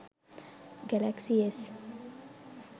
galaxy s